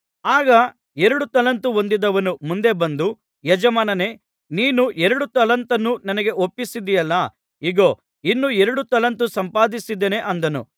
ಆಗ ಎರಡು ತಲಾಂತು ಹೊಂದಿದವನು ಮುಂದೆ ಬಂದು ಯಜಮಾನನೇ ನೀನು ಎರಡು ತಲಾಂತನ್ನು ನನಗೆ ಒಪ್ಪಿಸಿದ್ದೆಯಲ್ಲಾ ಇಗೋ ಇನ್ನು ಎರಡು ತಲಾಂತು ಸಂಪಾದಿಸಿದ್ದೇನೆ ಅಂದನು